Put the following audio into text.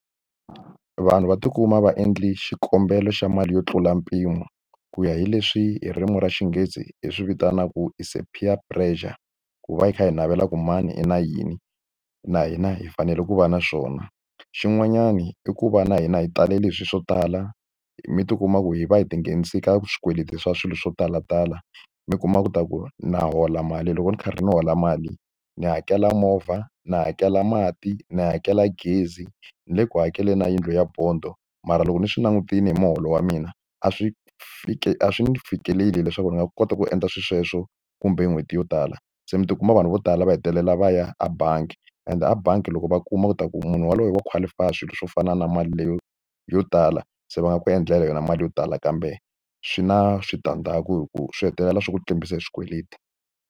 Vanhu va ti kuma va endle xikombelo xa mali yo tlula mpimo ku ya hi leswi hi ririmi ra xinghezi hi swi vitanaku is a peer pressure ku va hi kha hi navela ku mani i na yini na hina hi fanele ku va na swona. Xin'wanyani i ku va na hina hi talele hi swi swo tala mi ti kuma ku hi va hi tinghenisaka swikweleti swa swilo swo talatala mi kuma ku ta ku na hola mali loko ni karhi ndzi hola mali ndzi hakela movha ni hakela mati ni hakela gezi ni le ku hakeleni na yindlu ya bond-o mara loko ni swi langutile hi muholo wa mina a swi fiki a swi fikeleli leswaku ni nga kota ku endla swilo sweswo kumbe n'hweti yo tala se mi ti kuma vanhu vo tala va hetelela va ya a bangi ende a bangi loko va kuma ku ta ku munhu yaloye wa qualify swilo swo fana na mali leyo yo tala se va nga ku endlela yona mali yo tala kambe swi na switandzhaku hi ku swi hetelela swi ku tlimbisa hi swikweleti.